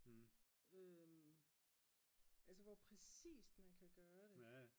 altså hvor præcist man kan gøre det